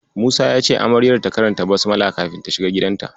Musa ya ce Amaryar ta karanta "Basmala" kafin ta shiga gidanta.